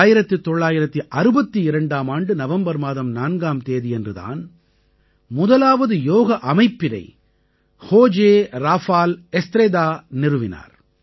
1962ஆம் ஆண்டு நவம்பர் மாதம் 4ஆம் தேதியன்று தான் முதலாவது யோக அமைப்பினை ஹோஜே ராஃபால் எஸ்த்ரேதா நிறுவினார்